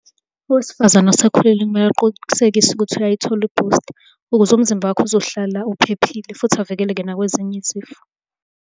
Owesifazane osekhulelwe kumele aqokisekise ukuthi uyayithola i-booster ukuze umzimba wakhe uzohlala uphephile futhi avikeleke nakwezinye izifo.